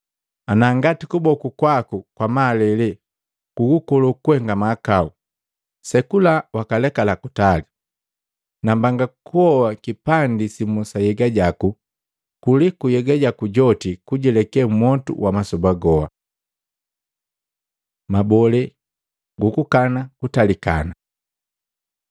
Anangati kuboku kwaku kwa malele gukukolo kuhenga mahakau, sekula wakalekala kutali. Nambanga kuhoa kipandi simu sa nhyega jaku, kuliku nhyega jaku joti kuguleke mmwotu wa masoba goa.” Mabole gukukana kutalikana Matei 19:9; Maluko 10:11-12; Luka 16:18